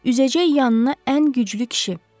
Üzəcək yanına ən güclü kişi.